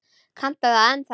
Kanntu það ennþá?